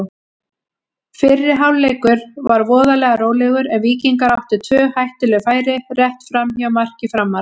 Fyrri hálfleikur var voðalega rólegur en Víkingar áttu tvö hættuleg færi rétt framhjá marki Framara.